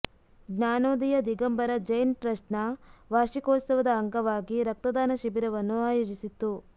ಜ್ಞಾನೋದಯ ದಿಗಂಬರ ಜೈನ್ ಟ್ರಸ್ಟ್ನ ವಾರ್ಷಿಕೋತ್ಸವದ ಅಂಗವಾಗಿ ರಕ್ತದಾನ ಶಿಬಿರವನ್ನು ಆಯೋಜಿಸಿತ್ತು